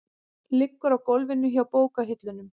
Liggur á gólfinu hjá bókahillunum.